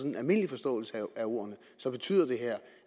en almindelig forståelse af ordene betyder